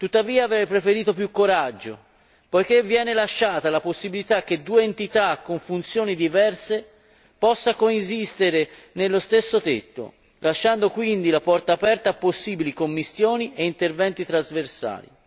tuttavia avrei preferito più coraggio poiché viene lasciata la possibilità che due entità con funzioni diverse possano coesistere sotto lo stesso tetto, lasciando quindi la porta aperta a possibili commistioni e interventi trasversali.